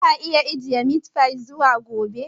Za a iya ajiye meat fy zuwa gobe?